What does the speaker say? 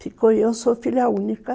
Ficou eu, sou filha única.